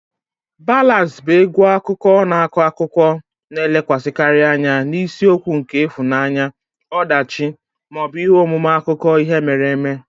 Ballads bụ egwu akụkọ na-akọ akụkọ, na-elekwasịkarị anya na isiokwu nke ịhụnanya, ọdachi, ma ọ bụ ihe omume akụkọ ihe mere eme.